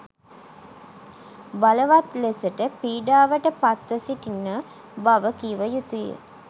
බලවත් ලෙසට පීඩාවට පත්ව සිටින බව කිව යුතුය.